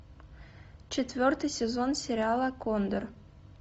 четвертый сезон сериала кондор